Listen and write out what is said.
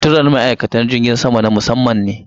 Suturar ma'aikata jirgin sama na musamman ne.